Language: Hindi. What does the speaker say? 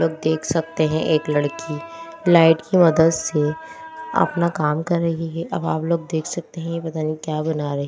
लोग देख सकते हैं एक लड़की लाइट की मदद से अपना काम कर रही हैअब आप लोग देख सकते हैं ये पता नहीं क्या बना रही--